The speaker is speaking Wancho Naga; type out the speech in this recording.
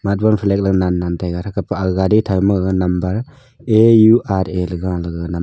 ley nannan tega theka pah aga gari thanma ga number aura galega ngan --